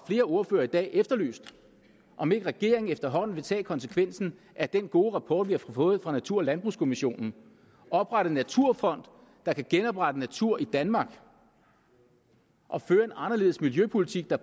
flere ordførere i dag efterlyst om ikke regeringen efterhånden vil tage konsekvensen af den gode rapport vi har fået fra natur og landbrugskommissionen og oprette en naturfond der kan genoprette natur i danmark og føre en anderledes miljøpolitik der